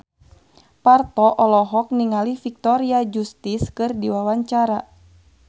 Parto olohok ningali Victoria Justice keur diwawancara